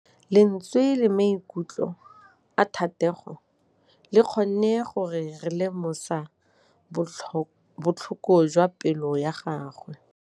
Lentswe la maikutlo a Thategô le kgonne gore re lemosa botlhoko jwa pelô ya gagwe.